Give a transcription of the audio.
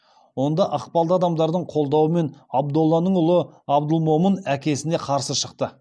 онда ықпалды адамдардың қолдауымен абдолланың ұлы абдылмомын әкесіне қарсы шықты